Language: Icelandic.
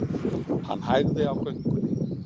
Hann hægði á göngunni.